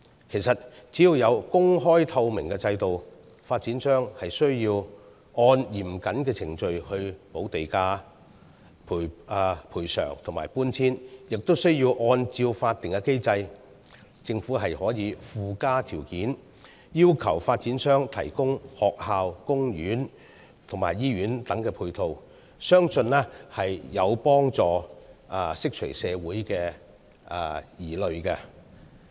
其實，只要有公開透明的制度，發展商需要按嚴謹程序補地價、賠償和搬遷，而按照法定機制，政府可以附加條件，要求發展商提供學校、公園和醫院等配套，相信將有助釋除社會的疑慮。